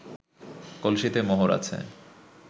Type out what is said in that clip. কলসিতে মোহর আছে